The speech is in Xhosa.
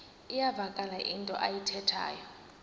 iyavakala into ayithethayo